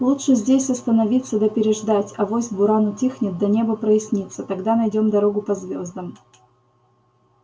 лучше здесь остановиться да переждать авось буран утихнет да небо прояснится тогда найдём дорогу по звёздам